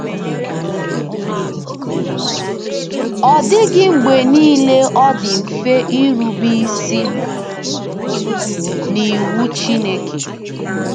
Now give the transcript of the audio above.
Ọ dịghị mgbe nile ọ dị mfe irube isi n'iwu Chineke.